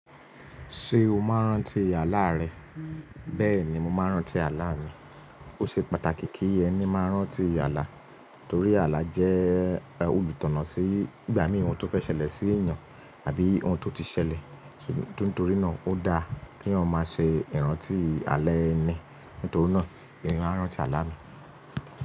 Ṣé o máa ń rántí àlá rẹ? Bẹ́ẹ̀ni, mo máa ń rántí àlá mi. Ó ṣe pàtàkì kí ẹni máa rántí àlá torí àlá jẹ́ olùtọ̀nà sí ìgbà mìí oun to fẹ́ ṣẹlẹ̀ sí èèyàn àbí ohun tó ti ṣẹlẹ̀. Nítorí náà ó dáa kí eyan ma ṣe ìrántí àlá ẹni. Nítorí náà emi máa ń rántí àlá mi.